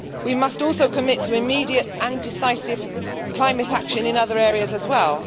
We must also commit to immediate and decisive climate action in other areas as well.